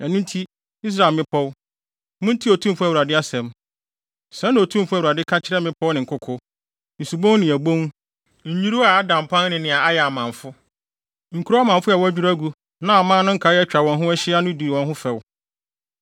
ɛno nti, Israel mmepɔw, muntie Otumfo Awurade asɛm: Sɛɛ na Otumfo Awurade ka kyerɛ mmepɔw ne nkoko, nsubon ne abon, nnwiriwii a ada mpan ne nea ayɛ amamfo, nkurow amamfo a wɔadwiriw agu na aman no nkae a atwa wɔn ho ahyia no di wɔn ho fɛw.